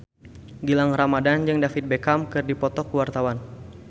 Gilang Ramadan jeung David Beckham keur dipoto ku wartawan